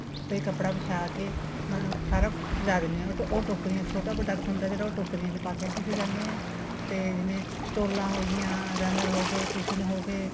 ਤੇ ਕੱਪੜਾ ਵਿਛਾ ਕੇ ਮਤਲਬ ਸਾਰਾ ਕੁੱਛ ਸਜਾਅ ਦਿੰਨੇ ਹਾਂ ਉਹ ਟੋਕਰੀਆਂ ਛੋਟਾ ਵੱਡਾ ਕੁੱਛ ਹੁੰਦਾ ਉਹ ਟੋਕਰੀਆਂ ਵਿੱਚ ਪਾਕੇ ਅਸੀਂ ਸਜਾਨੇ ਹਾਂ ਤੇ ਜਿਵੇ ਸਟੋਲਾ ਹੋ ਗਈਆਂ runner ਹੋ ਗਏ cushion ਹੋ ਗਏ